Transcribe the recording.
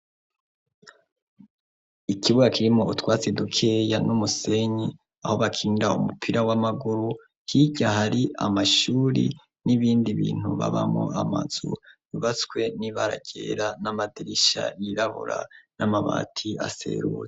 Ikibuga kirimwo utwatsi dukeya n'umusenyi, aho bakinira umupira w'amaguru. Hirya hari amashuri n'ibindi bintu babamwo, amazu yubatswe n'ibara ryera n'amadirisha yirabura n'amabati aserura.